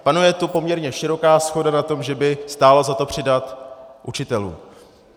Panuje tu poměrně široká shoda na tom, že by stálo za to přidat učitelům.